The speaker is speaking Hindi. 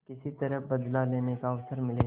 किसी तरह बदला लेने का अवसर मिले